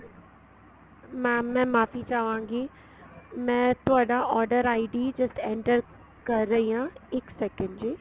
mam ਮੈਂ ਮਾਫ਼ੀ ਚਾਹਵਾਗੀ ਮੈਂ ਤੁਹਾਡਾ order ID just enter ਕਰ ਰਹੀ ਆ ਇੱਕ second ਜੀ